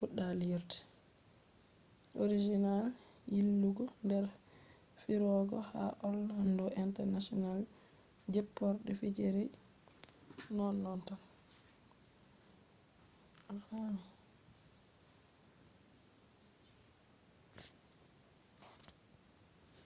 asal yillugo der firoge ha orlando international jpporde firoje ,sucklere be ha babal disney hotel majjungo har wadi sati banda accugo dillugo disney babal be wartugo sare